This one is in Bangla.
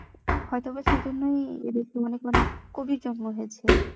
হয়তো বা সে জন্যই এদিকে অনেক অনেক কবির জন্ম হয়েছে